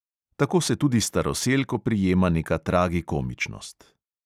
Tako se tudi staroselk oprijema neka tragikomičnost.